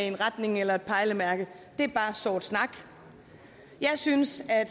en retning eller et pejlemærke det er bare sort snak jeg synes at